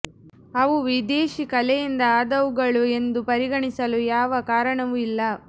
ಅವು ವಿದೇಶೀ ಕಲೆಯಿಂದ ಆದವುಗಳು ಎಂದು ಪರಿಗಣಿಸಲು ಯಾವ ಕಾರಣವೂ ಇಲ್ಲ